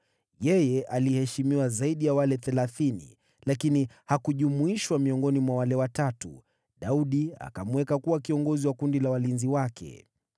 Yeye aliheshimiwa zaidi ya wale Thelathini, lakini hakujumuishwa miongoni mwa wale Watatu: Daudi akamweka kuwa kiongozi wa walinzi wake.